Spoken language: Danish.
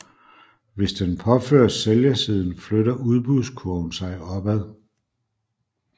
Hvis den påføres sælgersiden flytter udbudskurven sig opad